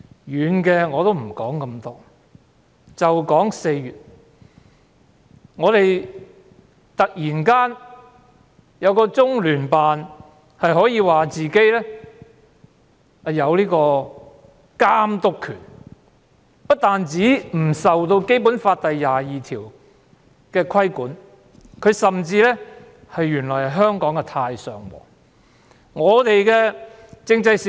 遠的我不多談，只談4月中央人民政府駐香港特別行政區聯絡辦公室突然自稱有監督權，不但不受《基本法》第二十二條的規管，甚至原來是香港的"太上皇"。